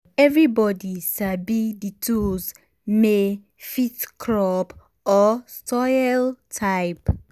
everybody sabi the tools may fit crop or soil type.